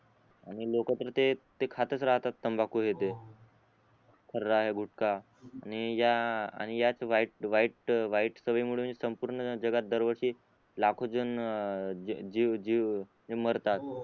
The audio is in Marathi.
आणि लोक तर ते खातच राहतात तंबाकू हे ते खरा गुटका आणि या आणि या वाईट वाईट वाईट सवयी मुळे म्हणजे संपूर्ण जगात दर वर्षी लाखो जण जे जे जे मारतात